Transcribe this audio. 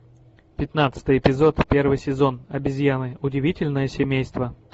пятнадцатый эпизод первый сезон обезьяны удивительное семейство